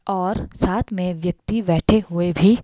और साथ में व्यक्ति बैठे हुए भी--